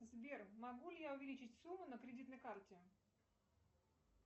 сбер могу ли я увеличить сумму на кредитной карте